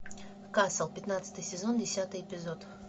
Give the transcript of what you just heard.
касл пятнадцатый сезон десятый эпизод